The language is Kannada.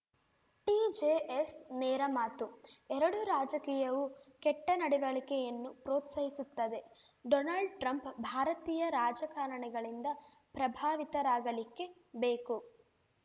ಟಿಜೆಎಸ್‌ ನೇರಮಾತು ಎರಡು ರಾಜಕೀಯವು ಕೆಟ್ಟನಡವಳಿಕೆಯನ್ನು ಪ್ರೋತ್ಸಾಹಿಸುತ್ತದೆ ಡೊನಾಲ್ಡ್‌ ಟ್ರಂಪ್‌ ಭಾರತೀಯ ರಾಜಕಾರಣಿಗಳಿಂದ ಪ್ರಭಾವಿತರಾಗಲಿಕ್ಕೇ ಬೇಕು